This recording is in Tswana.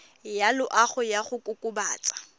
ya loago ya go kokobatsa